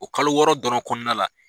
O kalo wɔɔrɔ dɔrɔn kɔnɔna la